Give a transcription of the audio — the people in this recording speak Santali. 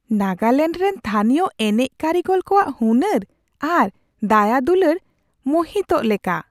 ᱱᱟᱜᱟᱞᱮᱱᱰ ᱨᱮᱱ ᱛᱷᱟᱹᱱᱤᱭᱚ ᱮᱱᱮᱡ ᱠᱟᱹᱨᱤᱜᱚᱞ ᱠᱚᱣᱟᱜ ᱦᱩᱱᱟᱹᱨ ᱟᱨ ᱫᱟᱭᱟᱼᱫᱩᱞᱟᱹᱲ ᱢᱳᱦᱤᱛᱚᱜ ᱞᱮᱠᱟ ᱾